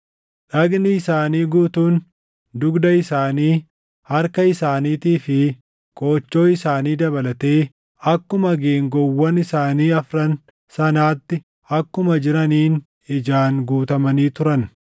Dhagni isaanii guutuun, dugda isaanii, harka isaaniitii fi qoochoo isaanii dabalatee akkuma geengoowwan isaanii afran sanaatti akkuma jiraniin ijaan guutamanii turan.